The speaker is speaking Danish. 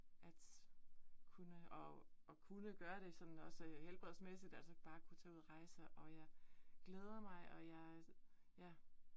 At kunne at at kunne gøre det sådan også helbredsmæsigt altså bare kunne tage ud at rejse, og jeg glæder mig og jeg ja